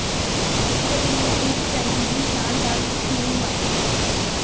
ਕੁਦਰਤ ਨੇ ਬਰੁੱਕ ਕੈਂਡੀ ਦੀ ਸ਼ਾਨਦਾਰ ਦਿੱਖ ਨੂੰ ਨਿਵਾਜਿਆ